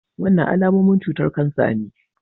Wannan alamomin cutar kansa ne.